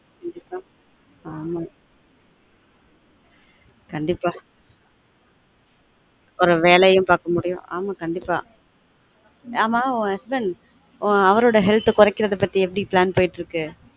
கண்டீப்பா ஆமா கண்டீப்பா ஒரு வேலயும் பார்க்க முடியும் ஆமா கண்டீப்பா ஆமா உன் husband அவரோட health அ குறைக்கிறத பத்தி எப்டி plan போயிட்டு இருக்கு